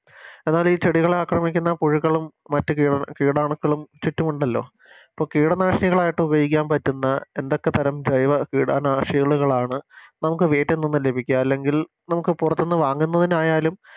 എന്നാലി ചെടികളെ ആക്രമിക്കുന്ന പുഴുക്കളും മറ്റ് കീട കീടാണുക്കളും ചുറ്റുമുണ്ടല്ലോ പ്പോ കീടനാശിനികളായിട്ട് ഉപയോഗിക്കാൻ പറ്റുന്ന എന്തൊക്കെ തരാം ജൈവ കീട നാശികള്കളാണ് നമുക്ക് വീട്ടിൽ നിന്നും ലഭിക്കാ അല്ലെങ്കിൽ നമുക്ക് പുറത്തുനിന്നും വാങ്ങുന്നതിനായാലും